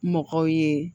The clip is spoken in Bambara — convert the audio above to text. Mɔgɔw ye